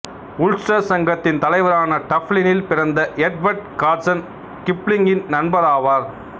Ulster சங்கத்தின் தலைவரான டப்லினில் பிறந்த எட்வர்ட் கார்சன் கிப்லிங்கின் நண்பராவார்